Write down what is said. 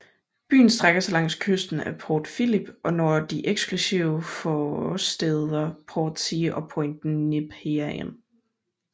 Byen strækker sig langs kysten af Port Phillip og når de eksklusive forstæder Portsea og Point Nepean